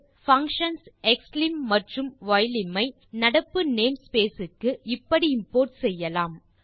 functions xlim மற்றும் ylim ஐ நடப்பு name ஸ்பேஸ் க்கு இப்படி இம்போர்ட் செய்யலாம்